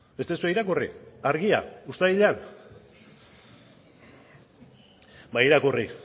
ez duzue irakurri argia uztailean ba irakurri